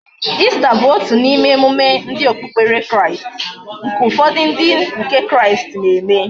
Easter bu otu na ime emume ndi okpukpere Kraist, nke ufodu ndi nke kraist na eme